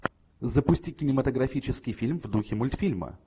запусти кинематографический фильм в духе мультфильма